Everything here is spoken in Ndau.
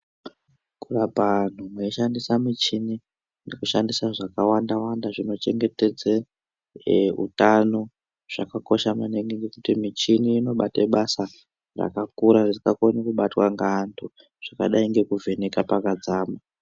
Kuti antu ashandise muchini ngekushandise zvakawanda wanda zvinochengetedze e utano zvakakosha mani gi ngekuti muchibi unobate basa rakakura risingakoni kubatwa ngeanhu zvakadai ngekuvheneka pakadzama.